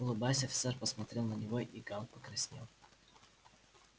улыбаясь офицер посмотрел на него и гаал покраснел